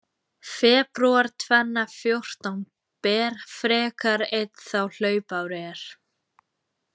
Febrúar tvenna fjórtán ber frekar einn þá hlaupár er.